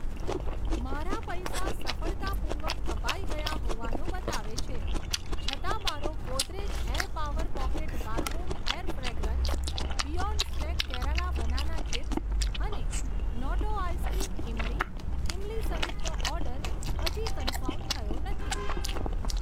મારા પૈસા સફળતાપૂર્વક કપાઈ ગયા હોવાનું બતાવે છે, છતાં મારો Godrej air power pocket bathroom air fragrance, beyond snack Kerala banana chips અને Noto ice cream Imli, Imli સહિતનો ઓર્ડર હજી કન્ફર્મ થયો નથી.